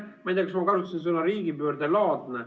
Ma ei tea, kas ma kasutasin sõna "riigipöördelaadne".